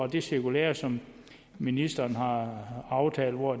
det cirkulære som ministeren har aftalt hvor